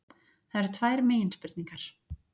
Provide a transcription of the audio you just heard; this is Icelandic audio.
Það eru tvær meginspurningar